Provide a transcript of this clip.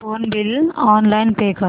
phone bill online pay कर